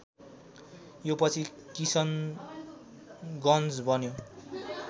यो पछि किशनगञ्ज बन्यो